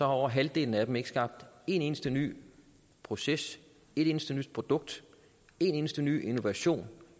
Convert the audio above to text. over halvdelen af dem ikke skabt en eneste ny proces et eneste nyt produkt en eneste ny innovation